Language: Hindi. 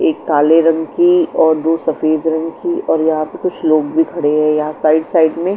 एक काले रंग की और दो सफेद रंग की और यहां पे कुछ लोग भी खड़े हैं यहां साइड साइड में--